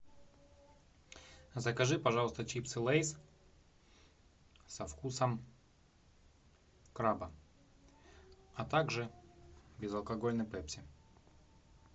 закажи пожалуйста чипсы лейс со вкусом краба а также безалкогольный пепси